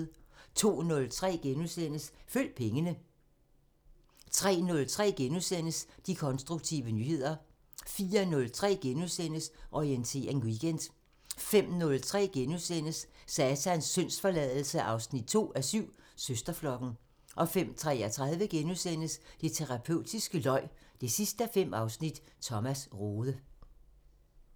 02:03: Følg pengene * 03:03: De konstruktive nyheder * 04:03: Orientering Weekend * 05:03: Satans syndsforladelse 2:7 – Søsterflokken * 05:33: Det terapeutiske løg 5:5 – Thomas Rode *